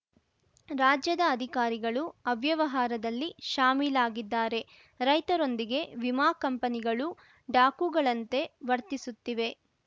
ರಾಜ್ಯದ ಅಧಿಕಾರಿಗಳು ಅವ್ಯವಹಾರದಲ್ಲಿ ಶಾಮೀಲಾಗಿದ್ದಾರೆ ರೈತರೊಂದಿಗೆ ವಿಮಾ ಕಂಪನಿಗಳು ಡಾಕೂಗಳಂತೆ ವರ್ತಿಸುತ್ತಿವೆ